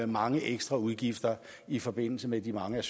mange ekstra udgifter i forbindelse med de mange